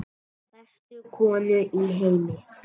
Bestu konu í heimi.